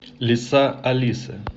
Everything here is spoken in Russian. лиса алиса